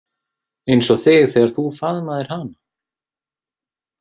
Eins og þig þegar þú faðmaðir hana?